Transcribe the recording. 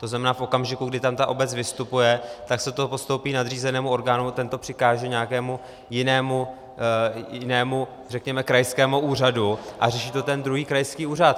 To znamená, v okamžiku, kdy tam ta obec vystupuje, tak se to postoupí nadřízenému orgánu, ten to přikáže nějakému jinému, řekněme krajskému úřadu a řeší to ten druhý krajský úřad.